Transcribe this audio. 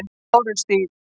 Bárustíg